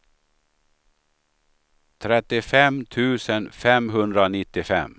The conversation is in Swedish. trettiofem tusen femhundranittiofem